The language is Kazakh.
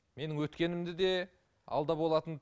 менің өткенімді де алда болатын